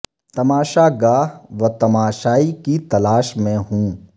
تماشا گا ہ و تماشائی کی تلاش میں ہوں